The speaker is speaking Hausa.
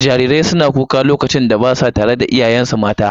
Jarirai suna kuka lokacin da ba sa tare da iyayensu mata.